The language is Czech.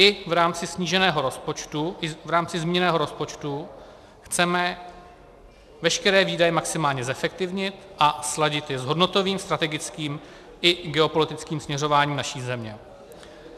I v rámci zmíněného rozpočtu chceme veškeré výdaje maximálně zefektivnit a sladit je s hodnotovým, strategickým i geopolitickým směřováním naší země.